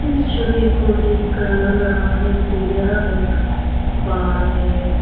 छवि को देखकर लग रहा है कि यह एक बार है।